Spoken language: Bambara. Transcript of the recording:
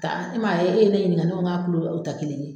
e man ye e ye ne ɲininka ne ko k'a o ta kelen ye.